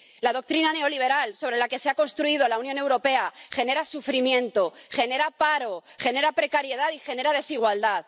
La doctrina neoliberal sobre la que se ha construido la Unión Europea genera sufrimiento, genera paro, genera precariedad y genera desigualdad.